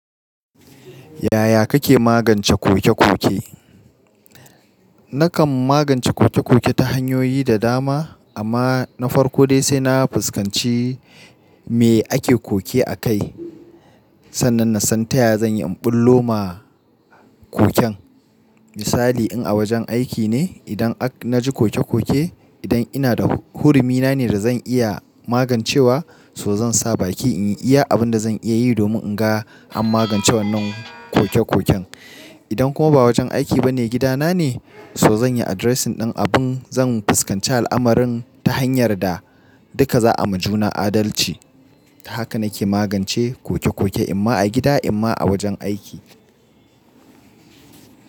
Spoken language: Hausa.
Yaya kake magance koke-koke? Nakan magance koke-koke ta hanyoyi da dama amma na farko dai sai na fuskanci me ake koke a kai. Sannan na san taya zan yi imbullo ma koken. Misali in a wajen aiki ne, idan na ji koke-koke, idan ina da hurumi na ne da zan iya magancewa so zan sa baki in iya abin da zan iya yi domin in ga an magance wannan koke-koken. Idan kuma ba wajen aiki ba ne gida na ne, so zan yi addressing din abin zan fuskance al'amarin ta hanyar da duka za a majuna adalci. Haka na ke magance koke-koke, imma a gida imma a wajen aiki.